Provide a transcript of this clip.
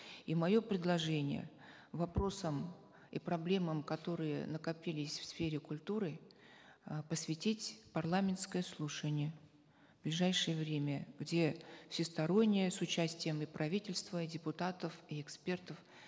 и мое предложение вопросам и проблемам которые накопились в сфере культуры э посвятить парламентское слушание в ближайшее время где всесторонне с участием и правительства и депутатов и экспертов